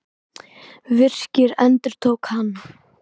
Virki, endurtók hann.